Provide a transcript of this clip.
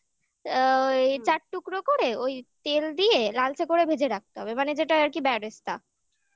ছাড়িয়ে অ্যা চার টুকরো করে ওই তেল দিয়ে লালচে করে ভেজে রাখতে হবে মানে যেটা আরকি বেরেস্তা